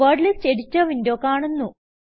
word list editor window കാണുന്നു